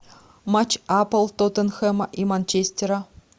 матч апл тоттенхэма и манчестера